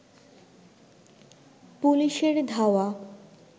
পুলিশের ধাওয়া